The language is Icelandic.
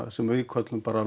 sem við köllum bara